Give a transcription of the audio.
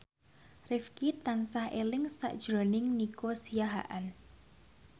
Rifqi tansah eling sakjroning Nico Siahaan